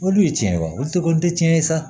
Olu ye tiɲɛ ye wa olu de ko n tɛ tiɲɛ ye sa